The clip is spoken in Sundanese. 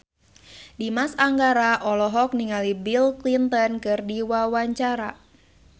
Dimas Anggara olohok ningali Bill Clinton keur diwawancara